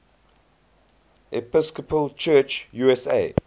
episcopal church usa